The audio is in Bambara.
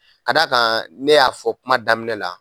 Ka d'a kan ne y'a fɔ kuma daminɛ la.